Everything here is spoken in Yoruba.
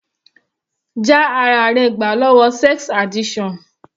Já ara rẹ gbà lọ́wọ́ sex addiction.